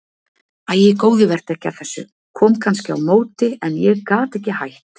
Æ góði vertu ekki að þessu, kom kannski á móti en ég gat ekki hætt